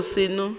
e rile ge a seno